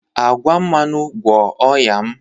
Agwa mmanụ, gwọọ ọnya m.